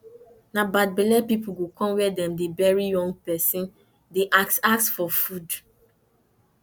na bad belle people go come where dem dey bury young person dey ask ask for food